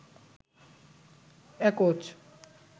একচ